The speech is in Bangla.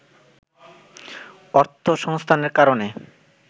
অর্থসংস্থানের কারণে